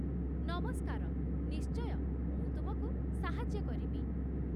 ନମସ୍କାର, ନିଶ୍ଚୟ, ମୁଁ ତୁମକୁ ସାହାଯ୍ୟ କରିବି।